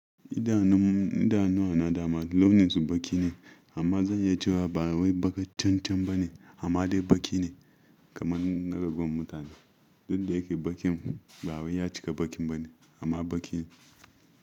Idanun, idanuwa na dama launinsu baƙi ne amma zan yi cewa ba wai baƙa cen-cen ba ne amma dai baki ne kamar na raguwan mutane. Duk da yake ba ƙin ba wai ya cika baƙin ba ne amma baƙi ne.